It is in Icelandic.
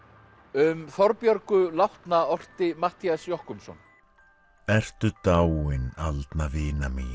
um Þorbjörgu látna orti Matthías Jochumsson ertu dáin aldna vina mín